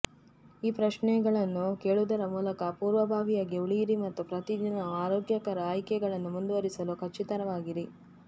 ಪ್ರಶ್ನೆಗಳನ್ನು ಕೇಳುವುದರ ಮೂಲಕ ಪೂರ್ವಭಾವಿಯಾಗಿ ಉಳಿಯಿರಿ ಮತ್ತು ಪ್ರತಿದಿನವೂ ಆರೋಗ್ಯಕರ ಆಯ್ಕೆಗಳನ್ನು ಮುಂದುವರಿಸಲು ಖಚಿತವಾಗಿರಿ